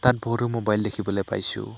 ইয়াত বহুতো মোবাইল দেখিবলে পাইছোঁ।